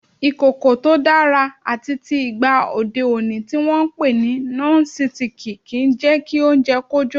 Ìkòkò tó dára àtitì ìgba òde òní tí wọn ń pè ní Nọ́sitikì kì í jẹ́ kí oúnjẹ kó jó.